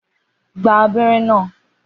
Gba abẹ́rẹ́ náà!